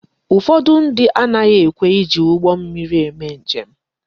Ụfọdụ ndị anaghị ekwe eji ụgbọ mmiri eme njem